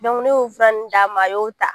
ne y'o fura nunnu d'a ma a y'o ta.